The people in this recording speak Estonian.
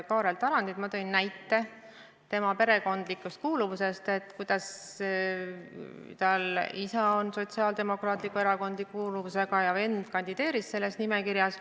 Ma märkisin tema perekondlikku kuuluvust: ta isa on Sotsiaaldemokraatliku Erakonna kuuluvusega ja vend kandideeris selles nimekirjas.